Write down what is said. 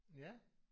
Ja